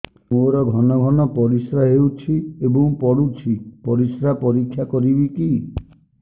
ମୋର ଘନ ଘନ ପରିସ୍ରା ହେଉଛି ଏବଂ ପଡ଼ୁଛି ପରିସ୍ରା ପରୀକ୍ଷା କରିବିକି